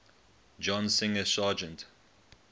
john singer sargent